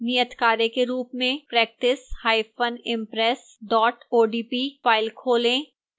नियतकार्य के रूप में practiceimpress odp फाइल खोलें